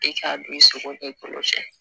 E k'a don i sogo e kolo cɛ